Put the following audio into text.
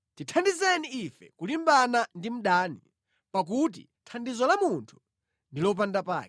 Tithandizeni ife kulimbana ndi mdani, pakuti thandizo la munthu ndi lopanda pake.